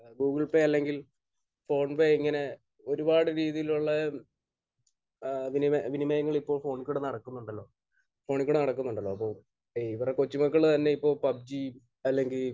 Google Pay അല്ലെങ്കിൽ PhonePe അങ്ങനെ ഒരുപാട് രീതിയിലുള്ള ഏഹ് വിനിമയങ്ങൾ ഇപ്പോൾ ഫോണിലൂടെ നടക്കുന്നുണ്ടല്ലോ. ഫോണിൽ കൂടെ നടക്കുന്നുണ്ടല്ലോ. അപ്പോൾ ഇവരുടെ കൊച്ചുമക്കൾ തന്നെ ഇപ്പോൾ പബ്‌ജി അല്ലെങ്കിൽ